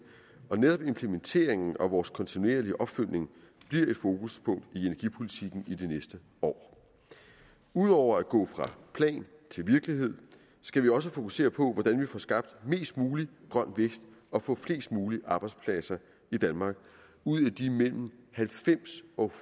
og netop implementeringen og vores kontinuerlige opfølgning bliver et fokuspunkt i energipolitikken i det næste år ud over at gå fra plan til virkelighed skal vi også fokusere på hvordan vi får skabt mest mulig grøn vækst og får flest mulige arbejdspladser i danmark ud af de mellem halvfems og